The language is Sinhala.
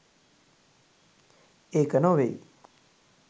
ඒක නොවෙයි